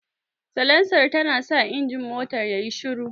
Salansar tanasa injin motar yayi shiru.